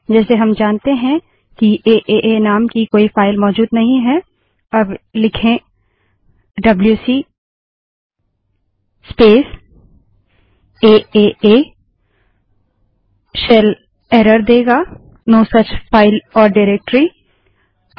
जैसे हम जानते हैं कि एए नाम की कोई फाइल मौजूद नहीं है अब लिखें डब्ल्यूसी स्पेस aaaडबल्यूसी स्पेस एए सेल एरर देगा नो सुच फाइल ओर directoryऐसी कोई फाइल या निर्देशिका नहीं है